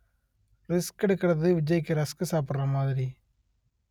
risk எடுக்கிறது விஜய்க்கு rusk சாப்பிடுற மாதிரி